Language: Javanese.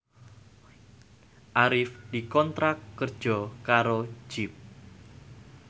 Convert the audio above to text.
Arif dikontrak kerja karo Jeep